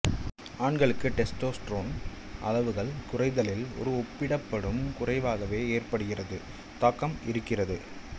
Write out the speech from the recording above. ஆண்களுக்கு டெஸ்டோஸ்டிரோன் அளவுகள் குறைதலில் ஒரு ஒப்பிடப்படும் குறைவாகவே ஏற்படுகிறது தாக்கம் இருக்கிறது